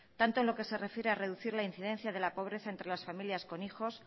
tanto en lo que se refiere a reducir la incidencia de la pobreza entre las familias con hijos